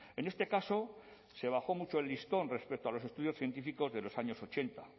en este caso se bajó mucho el listón respecto a los estudios científicos de los años ochenta